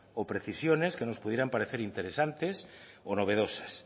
o precisiones que nos pudieran parecer interesantes o novedosas